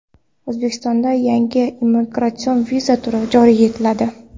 O‘zbekistonda yangi imigratsion viza turi joriy etiladi.